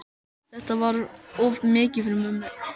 Þetta var of mikið fyrir mömmu.